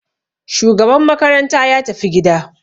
Shugaban makaranta ya tafi gida.